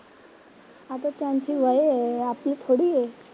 आता त्यांची वये आहेत आपली थोडी आहे?